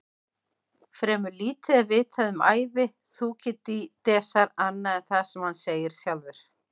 Fremur lítið er vitað um ævi Þúkýdídesar annað en það sem hann segir sjálfur.